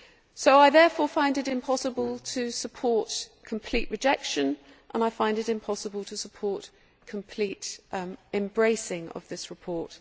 So I therefore find it impossible to support the complete rejection and I find it impossible to support the complete embracing of this report.